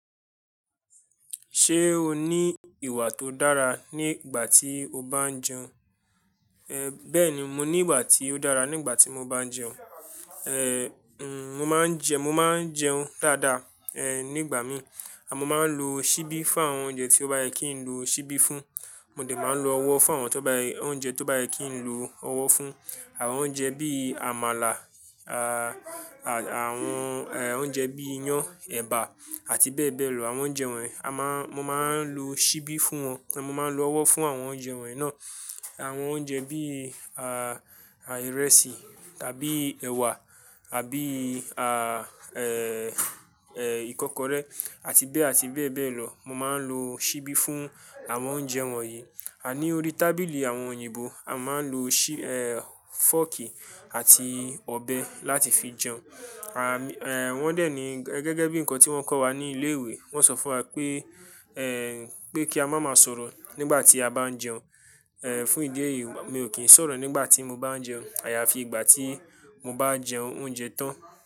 Ṣé o ní ìwà tó dára ní ìgbà tí o bá ń jẹun? Ehn, bẹ́ẹ̀ni mo ní ìwà tí ó dára nígbà tí mo bá ń jẹun. Ehn, hmm, mo máa ń jẹ, mo máa ń jẹun dáadáa, ehn nígbà míì, a mo máa ń lo ṣíbí fún àwọn oúnjẹ tí ó bá yẹ kí n lo ṣíbí fún, mo dẹ̀ máa ń lo ọwọ́ fún àwọn tó bá yẹ, oúnjẹ tó bá yẹ kí n lo ọwọ́ fún. Àwọn oúnjẹ bí i àmàlà, a, àwọn eh oúnjẹ bí i iyán, ẹ̀bà àti bẹ́ẹ̀ bẹ́ẹ̀ lọ. Àwọn oúnjẹ wọ̀nyí, a má, mo máa ń lo ṣíbí fún wọn, mo máa ń lo ọwọ́ fún àwọn oúnjẹ wọ̀nyí náà. Àwọn oúnjẹ bí i a, ìrẹsì tàbí ẹwà, àbí a, eh, eh, ìkọ́kọrẹ́ àti bẹ́ẹ̀ àti bẹ́ẹ̀ bẹ́ẹ̀ lọ. Mo máa ń lo ṣíbí fún àwọn oúnjẹ wọ̀nyí. Ah ní orí tábìlì àwọn òyìnbó, a máa ń lo ṣí, eh, fọ́ọ̀kì àti ọ̀bẹ láti fi jẹun. Ah, eh, wọ́n dẹ̀ ní gẹ́gẹ́ bí nǹkan tí wọ́n kọ́ wa ní ilé ìwé, wọ́n sọ fún wa pé eh, pé kí a má má sọ̀rọ̀ nígbà tí a bá ń jẹun. Ehn, fún ìdí èyí mi ò kí ń sọ̀rọ̀ nígbà tí mo bá ń jẹun. Àyàfi ìgbà tí mo bá jẹun oúnjẹ tán.